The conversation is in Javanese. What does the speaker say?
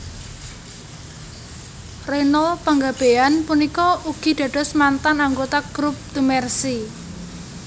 Reynold Panggabean punika ugi dados mantan anggota group The Mercy